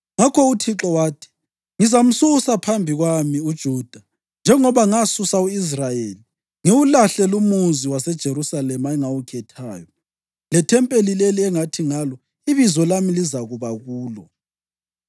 + 23.27 1 Amakhosi 8.29Ngakho uThixo wathi, “Ngizamsusa phambi kwami uJuda njengoba ngasusa u-Israyeli, ngiwulahle lumuzi waseJerusalema engawukhethayo, lethempeli leli engathi ngalo, ‘Ibizo lami lizakuba kulo.’ ”